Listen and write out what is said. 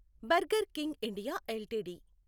burger King India LTD